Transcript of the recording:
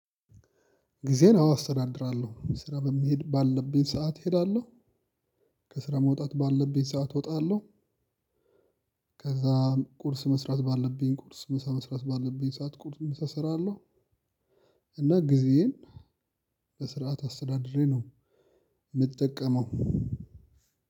ጊዜን አዎ አስተዳድራለሁ ስራ መሄድ ባለብኝ ሰዓት እሄዳለሁ ከስራ መውጣት ባለብኝ ሰዓት እወጣለሁ። ከዛ ቁርስ መስራት ባለብኝ ቁርስ ምሳ መስራት ባለብኝ ሰዓት ቁርስ ምሳ እሰራለሁ። እና ጊዜዬን በስርዓት አስተዳድሬ ነው የምጠቀመው።